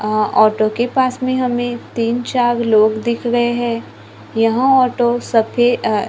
आं ऑटो के पास में हमें तीन चार लोग दिख रहे हैं यह ऑटो सफे अ--